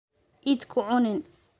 Ciid ku cunin.